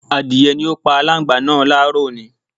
Adìrẹ ni ó pa aláǹgbá náà láàárọ̀ òní